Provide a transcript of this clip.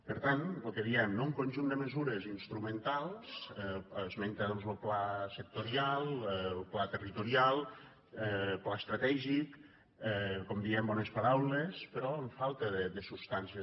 per tant el que diem no un conjunt de mesures instrumentals esmenta doncs el pla sectorial el pla territorial el pla estratègic com diem bones paraules però amb falta de substància